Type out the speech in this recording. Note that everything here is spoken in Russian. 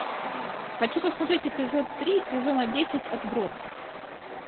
хочу посмотреть эпизод три сезона десять отбросы